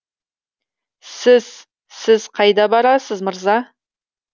сіз сіз қайда барасыз мырза